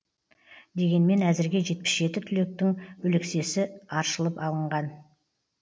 дегенмен әзірге жетпіс жеті түліктің өлексесі аршылып алынған